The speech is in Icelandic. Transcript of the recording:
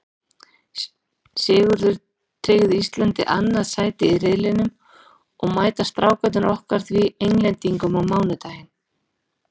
Sigurinn tryggði Íslandi annað sætið í riðlinum og mæta Strákarnir okkar því Englendingum á mánudaginn.